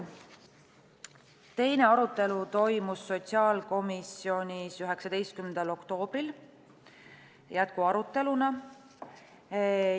Teine arutelu toimus sotsiaalkomisjonis 19. oktoobril jätkuaruteluna.